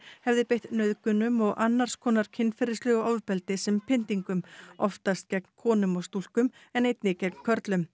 hefði beitt nauðgunum og annars konar kynferðislegu ofbeldi sem pyntingum oftast gegn konum og stúlkum en einnig gegn körlum